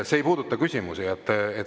See ei puuduta küsimusi.